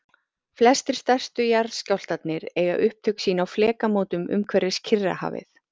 Flestir stærstu jarðskjálftarnir eiga upptök sín á flekamótum umhverfis Kyrrahafið.